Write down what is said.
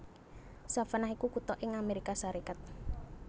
Savannah iku kutha ing Amérika Sarékat